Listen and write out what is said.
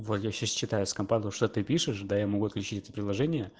валь я сейчас читаю с компа то что ты пишешь да я могу отключить приложение